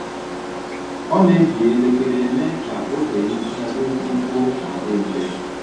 Ọ na-eji elekere mee ka oge nhicha dị mkpụmkpụ ma dị mfe.